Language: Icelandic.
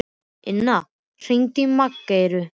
Inna, hringdu í Maggeyju.